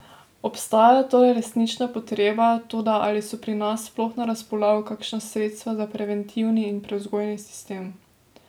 Obstaja torej resnična potreba, toda ali so pri nas sploh na razpolago kakšna sredstva za preventivni in prevzgojni sistem?